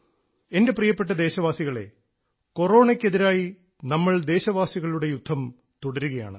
എൻറെ പ്രിയപ്പെട്ട ദേശവാസികളേ കൊറോണയ്ക്ക് എതിരായി നമ്മൾ ദേശവാസികളുടെ യുദ്ധം തുടരുകയാണ്